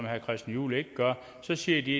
herre christian juhl ikke gør så siger de